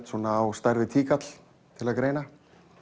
svona á stærð við tíkall til að greina